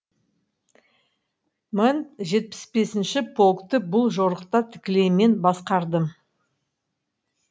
мың жетпіс бесінші полкты бұл жорықта тікелей мен басқардым